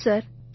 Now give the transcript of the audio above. ஆமாம் சார்